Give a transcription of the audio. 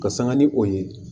Ka sanga ni o ye